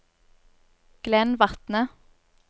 Glenn Vatne